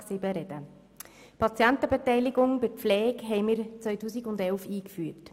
Wir haben die Patientenbeteiligung bei der Pflege im Jahr 2011 eingeführt.